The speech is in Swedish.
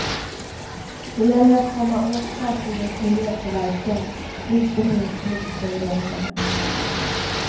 Det gäller att komma åt fartygens miljöpåverkan, inte minst luftföroreningarna.